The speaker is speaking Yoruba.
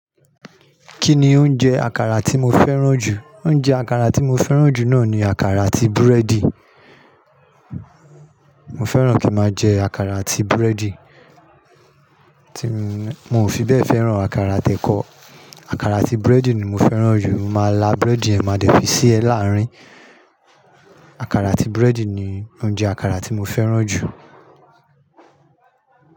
Kí ni oúnjẹ àkàrà tí mo fẹ́ràn jù? Oúnjẹ àkàrà tí mo fẹ́ràn jù náà ni àkàrà àti búrẹ́dì. Mo fẹ́ràn kí n máa jẹ àkàrà àti búrẹ́dì. Mo ò fi bẹ́ẹ̀ fẹ́ràn àkàrà ati ẹ̀kọ. Àkàrà àti búrẹ́dì ni mo fẹ́ràn jù. Mo máa lá búrẹ́dì ẹ máa dẹ́ fi sí ẹ láàárín. Àkàrà àti búrẹ́dì ni oúnjẹ àkàrà tí mo fẹ́ràn jù.